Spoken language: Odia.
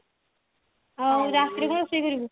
ହଉ ରାତିରେ କଣ ରୋଷେଇ କରିବୁ